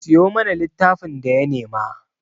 Siyo masa littafin da ya nema!